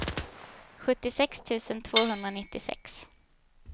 sjuttiosex tusen tvåhundranittiosex